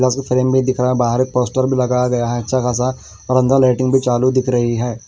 भी दिख रहा है बाहर एक पोस्टर भी लगाया गया है अच्छा ख़ासा और अन्दर लाइटें भी चालू दिख रही हैं।